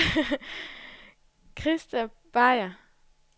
Krista Beyer